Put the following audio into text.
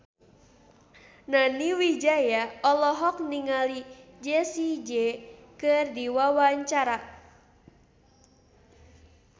Nani Wijaya olohok ningali Jessie J keur diwawancara